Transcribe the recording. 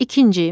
İkinci.